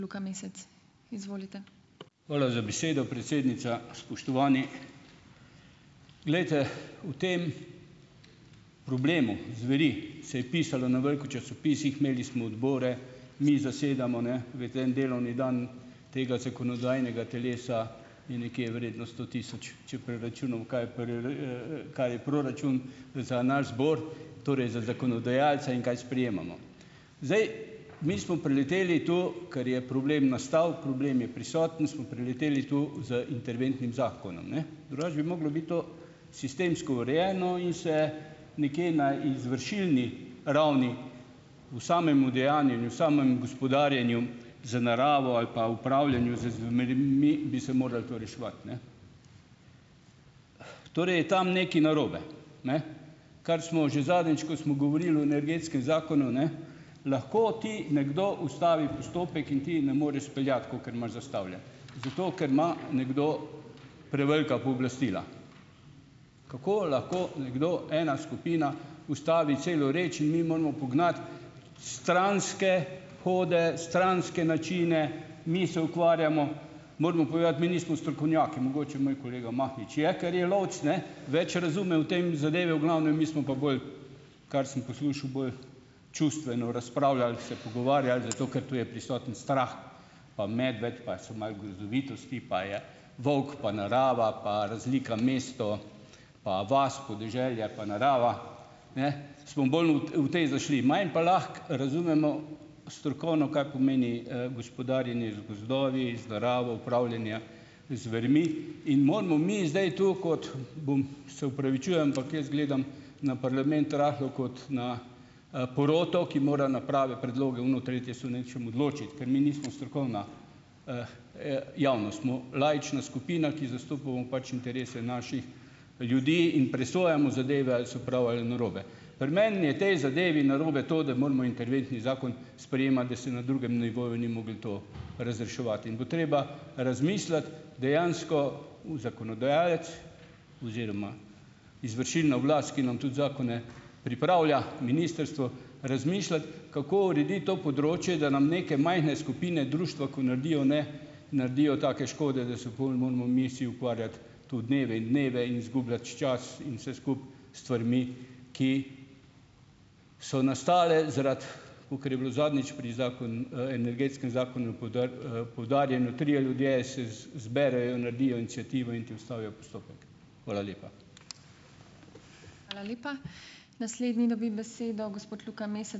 Hvala za besedo, predsednica. Spoštovani! Glejte, o tem problemu zveri se je pisalo na veliko v časopisih, imeli smo odbore, mi zasedamo, ne, veste en delovni dan tega zakonodajnega telesa, je nekje vreden sto tisoč, kaj je proračun za naš zbor. Torej za zakonodajalce in kaj sprejemamo. Zdaj mi smo preleteli to, kar je problem nastal, problem je prisoten, smo preleteli to z interventnim zakonom, ne. Drugače bi moglo biti to sistemsko urejeno in se nekje na izvršilni ravni v samem udejanjenju, v samem gospodarjenju z naravo ali pa upravljanju z zvermi bi se morali to reševati, ne. Torej je tam nekaj narobe. Kar smo že zadnjič, ko smo govorili o energetskem zakonu, ne, lahko ti nekdo ustavi postopek in ti ne moreš speljati, kakor imaš zastavljeno, zato ker ima nekdo prevelika pooblastila. Kako lahko nekdo, ena skupina, ustavi celo reč in mi moramo pognati stranske hode, stranske načine. Mi se ukvarjamo, moramo povedati, mi nismo strokovnjaki. Mogoče moj kolega Mahnič je, ker je lovec, ne, več razume o tem zadevi, v glavnem, mi smo pa bolj kar sem poslušal, bolj čustveno razpravljali, se pogovarjali, zato ker tu je prisoten strah, pa medved, pa so malo grozovitosti, pa je volk, pa narava, pa razlika mesto pa vas, podeželje, pa narava. Ne. Smo bolj u v tej zašli. Manj pa lahko razumemo strokovno, kaj pomeni, gospodarjenje z gozdovi, z naravo, upravljanje z zvermi, in moramo mi zdaj tu kot bum, se opravičujem, ampak jaz gledam na parlament rahlo kot na, poroto, ki mora na prave predloge, ono tretje se v nečem odločiti, ker mi nismo strokovna javnost. Smo laična skupina, ki zastopamo pač interese naših ljudi in presojamo zadeve, ali so prav ali narobe. Pri meni je tej zadevi narobe to, da moramo interventni zakon sprejemati, da se na drugem nivoju ni moglo to razreševati in bo treba razmisliti dejansko, zakonodajalec oziroma izvršilna oblast, ki nam tudi zakone pripravlja, ministrstvo, razmišljati, kako urediti to področje, da nam neke majhne skupine, društva, kot naredijo, ne naredijo take škode, da se pol moramo mi vsi ukvarjati tu dneve in dneve in zgubljati čas in vse skupaj s stvarmi, ki so nastale zaradi, kakor je bilo zadnjič pri Energetskem zakonu poudarjeno - trije ljudje se zberejo, naredijo iniciativo in ti ustavijo postopek. Hvala lepa.